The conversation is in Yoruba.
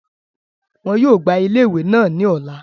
Wọ́n yóò gbá ile iwe naa ní ọ̀la